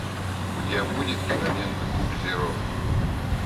у тебя будет кинолента куб зеро